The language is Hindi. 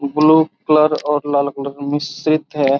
ब्लू कलर और लाल कलर का मिश्रित है।